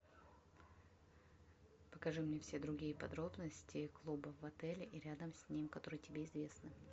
покажи мне все другие подробности клубов в отеле и рядом с ним которые тебе известны